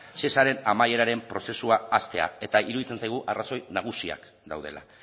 shesaren amaieraren prozesua hastea eta iruditzen zaigu arrazoi nagusiak daudela